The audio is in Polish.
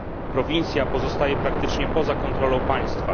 Prowincja pozostaje praktycznie poza kontrolą państwa.